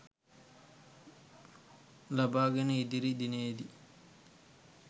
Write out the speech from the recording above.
ලබාගෙන ඉදිරි දිනයේදී